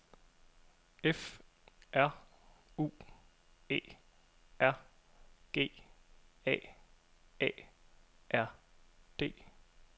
F R U E R G A A R D